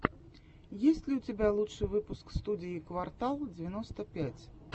есть ли у тебя лучший выпуск студии квартал девяносто пять